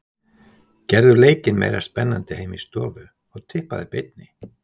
Gerðu leikinn meira spennandi heima í stofu og tippaðu í beinni.